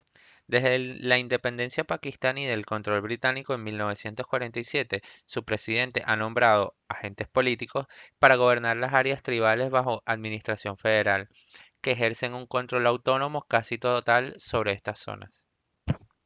desde la independencia pakistaní del control británico en 1947 su presidente ha nombrado «agentes políticos» para gobernar las áreas tribales bajo administración federal que ejercen un control autónomo casi total sobre estas zonas